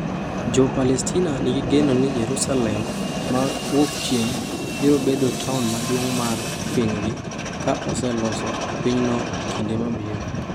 Jo-Palestina nigi geno ni Yerusalem ma Wuokchieng’ biro bedo taon maduong’ mar pinygi ka oseloso pinyno e kinde mabiro.